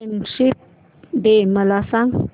friendship day मला सांग